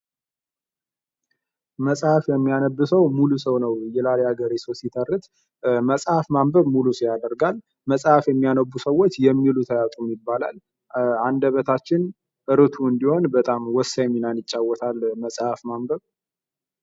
መጽሐፍ የሚያነብ ሰው ሙሉ ሰው ነው ይላል የሀገሬ ሰዉ ሲተርት መጽሐፍ ማንበብ ሙሉ ሰው ያደርጋል። መጽሐፍ የሚያነቡ ሰዎች የሚሉት አያጡም ይባላል። አንደበታችን ሩቱ እንዲሆን በጣም ወሳኝ ሚናን ይጫወታል መጽሐፍ ማንበብ